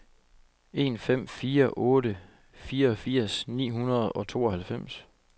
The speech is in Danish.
en fem fire otte fireogfirs ni hundrede og tooghalvfems